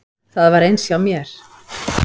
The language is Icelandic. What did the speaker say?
Það var eins hjá mér.